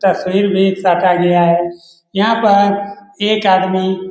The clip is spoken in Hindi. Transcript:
तस्वीर भी काटा गया है यहाँ पर एक आदमी --